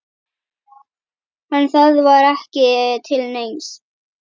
En það var ekki til neins.